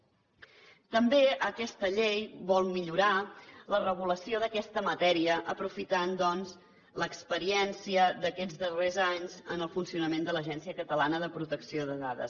també aquesta llei vol millorar la regulació d’aquesta matèria aprofitant doncs l’experiència d’aquests darrers anys en el funcionament de l’agència catalana de protecció de dades